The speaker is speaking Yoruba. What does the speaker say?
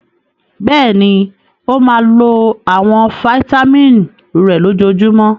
Bẹ́ẹ̀ni, ó máa lo àwọn fataímìn rẹ̀ lójoojúmọ́.